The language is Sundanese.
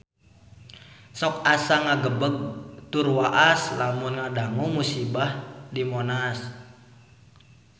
Sok asa ngagebeg tur waas lamun ngadangu musibah di Monas